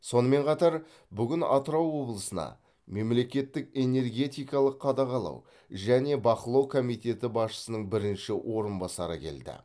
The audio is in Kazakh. сонымен қатар бүгін атырау облысына мемлекеттік энергетикалық қадағалау және бақылау комитеті басшысының бірінші орынбасары келді